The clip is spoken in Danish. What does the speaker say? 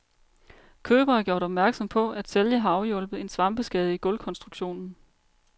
Køber er gjort opmærksom på, at sælger har afhjulpet en svampeskade i gulvkonstruktionen.